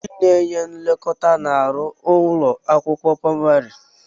Ndị na-enye nlekọta na-arụ n'ụlọ akwụkwọ praimari.